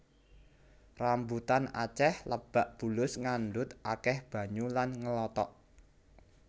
Rambutan acéh lebak bulus ngandhut akéh banyu lan ngelotok